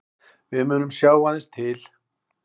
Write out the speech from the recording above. Við munum sjá aðeins til